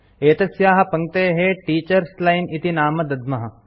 एतस्याः पङ्क्तेः टीटर्स लाइन इति नाम दद्मः